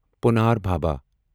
پُنار Bhabha